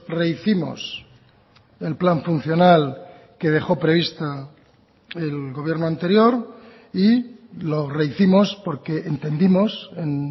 rehicimos el plan funcional que dejó prevista el gobierno anterior y lo rehicimos porque entendimos en